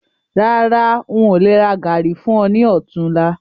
Rárá, ń ó lè rà gàárì fún ọ ní otunla